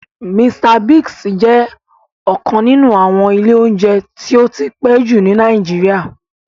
Mr Biggs jẹ́ ọ́kan ninu àwọn ìlé ounjẹ ti ó ti pe ju ni Nàìjíríà.